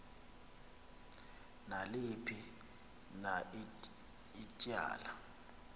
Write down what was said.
naliphi na ityala